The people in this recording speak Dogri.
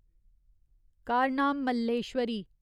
कारनाम मल्लेश्वरी